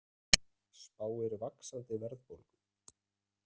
Spáir vaxandi verðbólgu